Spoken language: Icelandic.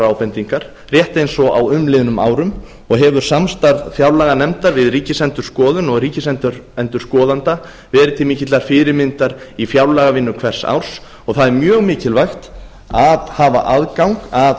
ábendingar rétt eins og á umliðnum árum og hefur samstarf fjárlaganefndar við ríkisendurskoðun og ríkisendurskoðanda verið til mikillar fyrirmyndar í fjárlagavinnu hvers árs og það er mjög mikilvægt að hafa aðgang að stofnun